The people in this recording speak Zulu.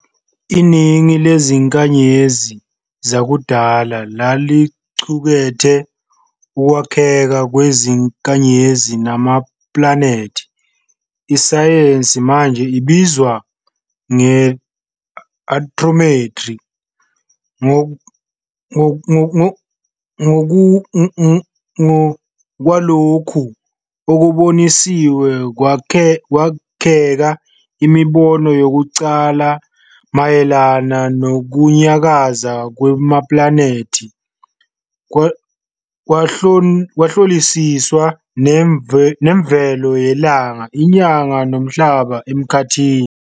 Iningi lezinkanyezi zakudala laliqukethe ukwakheka kwezinkanyezi namaplanethi, isayensi manje ebizwa nge-astrometry. Ngokwalokhu okuboniwe, kwakheka imibono yokuqala mayelana nokunyakaza kwamaplanethi, kwahlolisiswa nemvelo yeLanga, iNyanga noMhlaba Emkhathini.